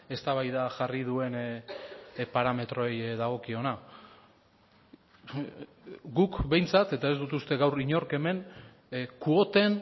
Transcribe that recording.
eztabaida jarri duen parametroei dagokiona guk behintzat eta ez dut uste gaur inork hemen kuoten